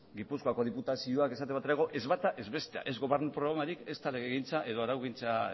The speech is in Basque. gipuzkoako diputazioak ez bata ez bestea ez gobernu programarik ezta legegintza edo araugintza